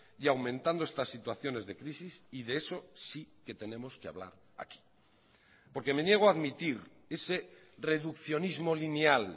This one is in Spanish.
y aumentando estas situaciones de crisis y de eso sí que tenemos que hablar aquí porque me niego a admitir ese reduccionismo lineal